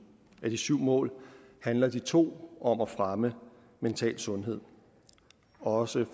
af de syv mål handler de to om at fremme mental sundhed også